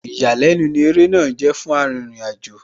Ìyàlẹ́nu ní ó eré náà jẹ́ fún Arìnrìn-àjò,